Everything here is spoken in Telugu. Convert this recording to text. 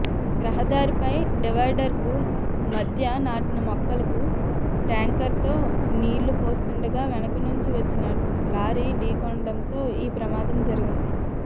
రహదారిపై డివైడర్కు మధ్య నాటిన మొక్కలకు ట్యాంకర్తో నీళ్లు పోస్తుండగా వెనుకనుంచి వచ్చిన లారీ ఢీకొనడంతో ఈ ప్రమాదం జరిగింది